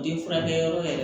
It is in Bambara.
Den furakɛ yɔrɔ yɛrɛ